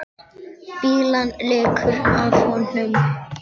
Fýlan lekur af honum.